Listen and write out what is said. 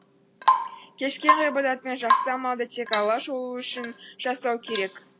кез келген ғибадат пен жақсы амалды тек алла жолы үшін жасау керек